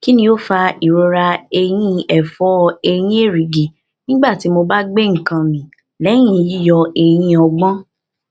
ki ni o fa irora ẹyin ẹfọ eyin erigi nigbati mo ba gbe nkan mi lẹyin yiyọ eyin ogbon